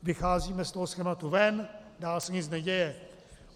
Vycházíme z toho schématu ven, dál se nic neděje.